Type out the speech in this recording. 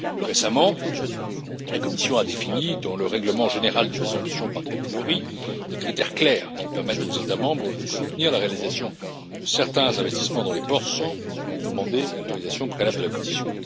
Récemment, la Commission a défini, dans le règlement général d'exemption par catégorie, des critères clairs qui permettent aux États membres de soutenir la réalisation de certains investissements dans les ports sans demander l'autorisation préalable de la Commission.